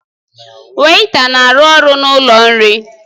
Weịta na-arụ ọrụ n'ụlọ nri